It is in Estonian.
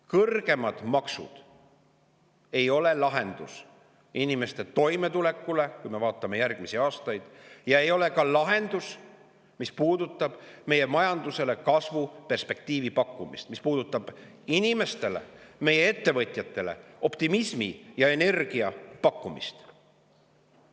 Kõrgemad maksud ei ole lahendus inimeste toimetuleku jaoks, kui me vaatame järgmisi aastaid, ja ei ole ka lahendus selle jaoks, et pakkuda meie majandusele kasvu perspektiivi, et pakkuda meie inimestele, ettevõtjatele optimismi ja energiat.